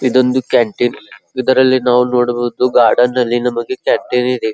ಇದೊಂದು ಕ್ಯಾಂಟೀನ್ ಇದರಲ್ಲಿ ನಾವು ನೋಡಬಹುದು ಗಾರ್ಡನ್ ನಲ್ಲಿ ನಮಗೆ ಕೆಟ್ಟರೀ ಇದೆ .